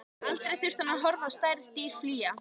Aldrei þurfti hann að horfa á særð dýr flýja.